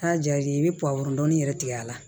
Aa ja i bɛ dɔɔnin yɛrɛ tigɛ a la